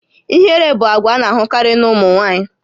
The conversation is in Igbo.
Ihere bụ àgwà a na-ahụkarị na ụmụ nwaanyị